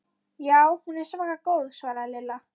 Já, hún er svaka góð svaraði Lilla.